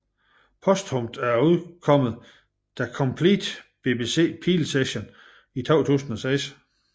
Posthumt er udkommet The Complete BBC Peel Sessions i 2006